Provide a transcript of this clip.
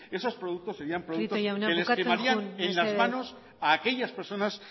esos productos serían prieto jauna bukatzen joan mesedez productos que les quemarían en las manos a aquellas personas